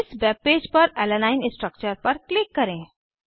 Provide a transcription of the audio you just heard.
इस वेबपेज पर alanine alanine structure पर क्लिक करें